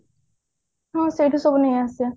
ହଁ ସେଇଠୁ ସବୁ ନେଇ ଆସିବା